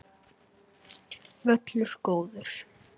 Völlur góður.